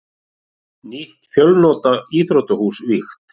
Nýtt fjölnota íþróttahús vígt